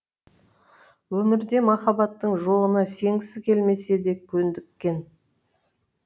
өмірде махаббаттың жоғына сенгісі келмесе де көндіккен